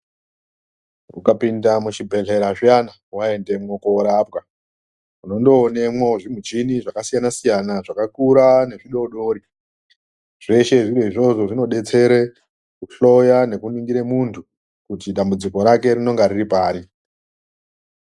Ukapinda muzvibhedhlera zviyana waendemwo korapwa unondoonemwo zvimuchini Zvakasiyana siyana zvakakura nezvidodori zveshe izvozvo zvinodetsere kuhloya nekuningire muntu kuti dambudziko rake rinonga riri pari.